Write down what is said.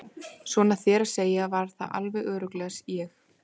Svona þér að segja var það alveg örugglega ég